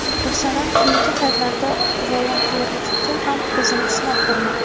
Gulsanam keyingi paytlarda volontyorlikda ham o‘zini sinab ko‘rmoqda.